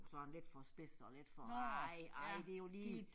Sådan lidt for spidse og lidt for ej ej det jo lige